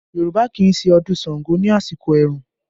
Yorùbá kì í ṣe ọdún Ṣàngó ní àsìkò ẹ̀rùn